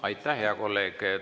Aitäh, hea kolleeg!